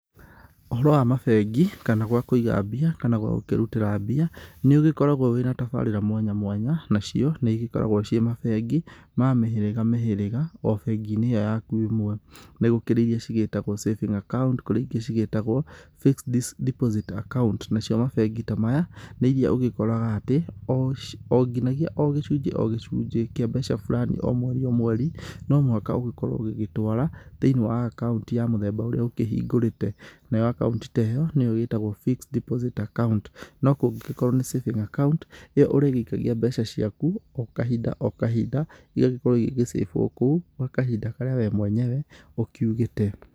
Ũhoro wa mabengĩ kana gwa kũiga mbia kana gwa gũkĩrutĩra mbia nĩ ũgĩkoragwo wĩna tabarĩra mwanya mwanya, nacio nĩigĩkoragwo ĩ mabengĩ ma mĩhĩrĩga mĩhĩrĩga o bengi-inĩ ĩyo yaku ĩmwe. Nĩgũkĩrĩ ĩria cigĩtagwo savings account na ĩrĩa cigĩtagwo fixed deposit account. Nacio mabengĩ ta maya nĩ ĩria ũgĩkoraga atĩ o nginyagĩa o gĩcunjĩ gĩcunjĩ kĩa mbeca burani o mwerĩ o mweri no mũhaka ũgĩkorwo ũgĩtwara thĩiniĩ wa account ya mũthemba ũrĩa ũkĩhingũrĩte. Nayo account ta ĩyo nĩyo ĩtagwo fixed deposit account. No kũngĩgĩkorwo nĩ savings account ĩyo ũrĩgĩikagia mbeca ciaku o kahĩnda o kahĩnda ĩrĩa ĩrĩgĩkorwo ĩgĩcĩbwo kũu gwa kahinda karĩa we mwenyewe ũgũkorwo ũkiugĩte.